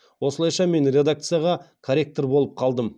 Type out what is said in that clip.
осылайша мен редакцияда корректор болып қалдым